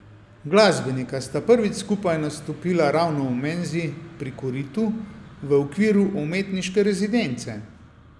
Glasbenika sta prvič skupaj nastopila ravno v Menzi pri koritu v okviru umetniške rezidence.